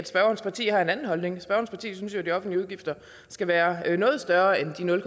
spørgerens parti har en anden holdning spørgerens parti synes jo at de offentlige udgifter skal være noget større end de nul